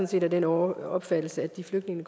set af den opfattelse at de flygtninge